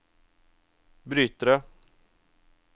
brytere